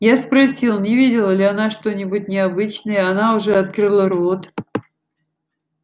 я спросил не видела ли она что-нибудь необычное она уже открыла рот